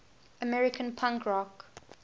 american punk rock